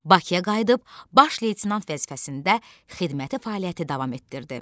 Bakıya qayıdıb, baş leytenant vəzifəsində xidməti fəaliyyəti davam etdirdi.